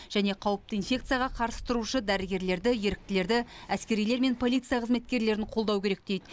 және қауіпті инфекцияға қарсы тұрушы дәрігерлерді еріктілерді әскерилер мен полиция қызметкерлерін қолдау керек дейді